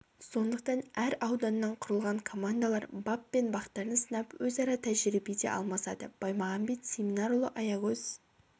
сондықтан әр ауданнан құрылған командалар бап пен бақтарын сынап өзара тәжірибе де алмасады баймағанбет семинарұлы аягөз